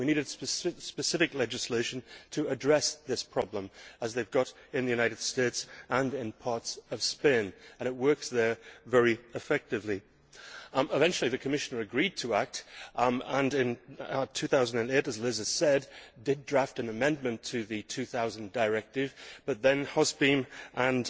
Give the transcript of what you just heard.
We needed specific legislation to address this problem, as they have in the United States and in parts of Spain, and it works there very effectively. Eventually the Commissioner agreed to act and in 2008, as Liz has said, did draft an amendment to the 2000 directive, but then HOSPEEM and